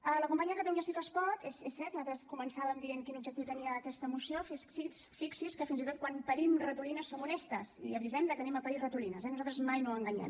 a la companya de catalunya sí que es pot és cert nosaltres començàvem dient quin objectiu tenia aquesta moció fixi’s que fins i tot quan parim ratolines som honestes i avisem de que parirem ratolines eh nosaltres mai no enganyem